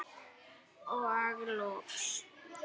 Og loks.